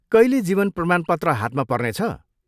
कहिले जीवन प्रमाणपत्र हातमा पर्नेछ?